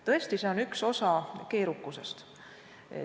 Tõesti, see on üks osa keerukusest.